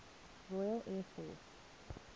royal air force